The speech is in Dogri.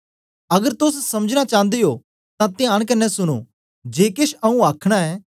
अगर तोस समझना चांदे ओ तां त्यांन कन्ने सुनो जे केश आऊँ आखना ऐं